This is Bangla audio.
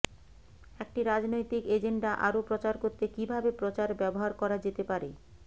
একটি রাজনৈতিক এজেন্ডা আরও প্রচার করতে কিভাবে প্রচার ব্যবহার করা যেতে পারে